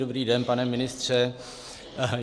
Dobrý den, pane ministře.